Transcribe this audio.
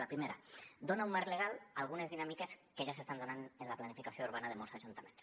la primera dona un marc legal a algunes dinàmiques que ja s’estan donant en la planificació urbana de molts ajuntaments